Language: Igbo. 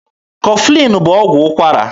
Kọflin bụ ọgwụ ụkwara.